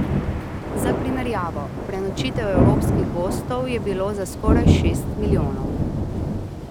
Za primerjavo, prenočitev evropskih gostov je bilo za skoraj šest milijonov.